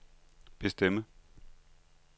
bestemme